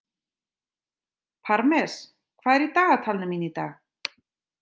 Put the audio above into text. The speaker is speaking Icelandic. Parmes, hvað er í dagatalinu mínu í dag?